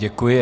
Děkuji.